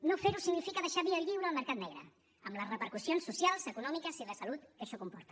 no fer ho significa deixar via lliure al mercat negre amb les repercussions socials econòmiques i de salut que això comporta